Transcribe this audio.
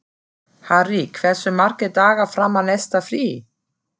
Harry, hversu margir dagar fram að næsta fríi?